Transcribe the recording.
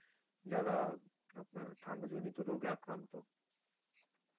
যারা আপনার ঠান্ডাজনিত রোগে আক্রান্ত